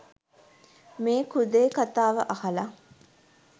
මේ කුදේ කතාව අහලා.